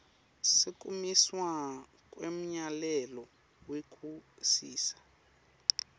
sekumiswa kwemyalelo wekusisa